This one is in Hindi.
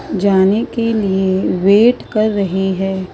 जाने के लिए वेट कर रहे है।